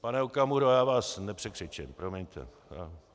Pane Okamuro, já vás nepřekřičím, promiňte.